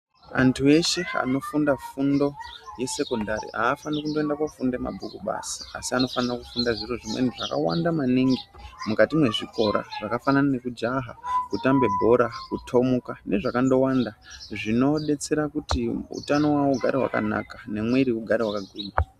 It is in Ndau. Antu eshe anofunda fundo yesekondari aafaniri kundoita fundo yemabhuku basi asi vanofane kufunda zviro zvimweni zvakawanda maningi mukati mezvikora zvakafanana nekujaha, kutambe bhora, kutomuka nezvakawanda zvinoadetsera kuti hutano hugare hwakanaka, nemwiri ugare wakagwinya.